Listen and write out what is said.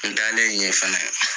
N taalen ɲɛ fɛnɛ